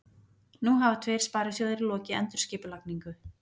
Nú hafa tveir sparisjóðir lokið endurskipulagningu